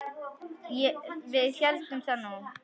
Við héldum það nú.